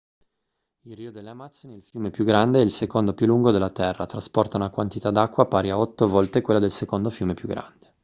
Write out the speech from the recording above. il rio delle amazzoni è il fiume più grande e il secondo più lungo della terra trasporta una quantità d'acqua pari a 8 volte quella del secondo fiume più grande